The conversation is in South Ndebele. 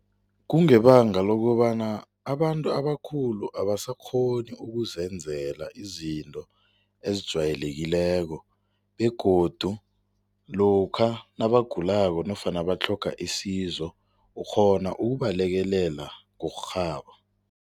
Kungebanga lokobana abantu abakhulu abasakghoni ukuzenzela izinto ezijwayelekileko begodu lokha nabagulako nofana batlhoga isizo, ukghona ukubalekela ngokurhaba.